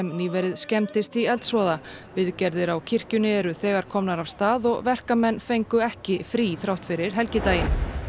nýverið skemmdist í eldsvoða viðgerðir á kirkjunni eru þegar komnar af stað og verkamenn fengu ekki frí þrátt fyrir helgidaginn